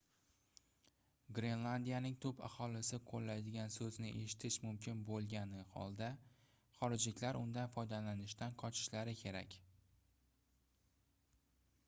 grenlandiyaning tub aholisi qoʻllaydigan soʻzni eshitish mumkin boʻlgani holda xorijliklar undan foydalanishdan qochishlari kerak